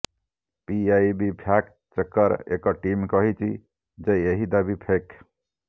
PIB fact ଚେକର ଏକ team କହିଛି ଯେ ଏହି ଦାବି ଫେକ୍